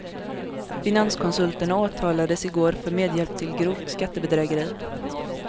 Finanskonsulterna åtalades igår för medhjälp till grovt skattebedrägeri.